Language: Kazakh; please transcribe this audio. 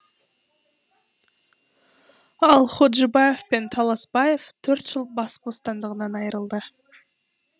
ал ходжибаев пен таласбаев төрт жыл бас бостандығынан айырылды